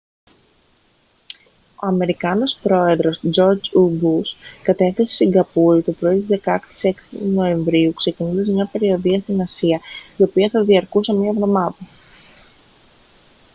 ο αμερικανός πρόεδρος τζορτζ ου μπους κατέφθασε στη σιγκαπούρη το πρωί της 16ης νοεμβρίου ξεκινώντας μια περιοδεία στην ασία η οποία θα διαρκούσε μία εβδομάδα